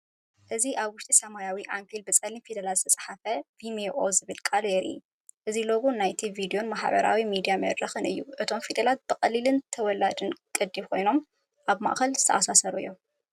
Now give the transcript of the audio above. እዚ ኣብ ውሽጢ ሰማያዊ ዓንኬል ብጸሊም ፊደላት ዝተጻሕፈ “ቪሜኦ” ዝብል ቃል የርኢ። እዚ ሎጎ ናይቲ ቪድዮን ማሕበራዊ ሚድያን መድረኽ እዩ። እቶም ፊደላት ብቐሊልን ተወላዲን ቅዲ ኮይኖም ኣብ ማእከል ዝተኣሳሰሩ እዮም።